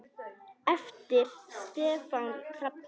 eftir Stefán Hrafn Jónsson